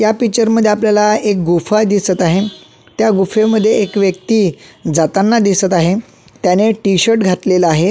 या पिक्चर मध्ये आपल्याला एक गुफा दिसत आहे त्या गुफेमध्ये एक व्यक्ती जाताना दिसत आहे त्याने टी-शर्ट घातलेला आहे.